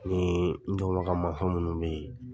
Ni n dɔnbaka masɔn munun be yen